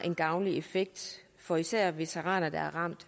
en gavnlig effekt for især veteraner der er ramt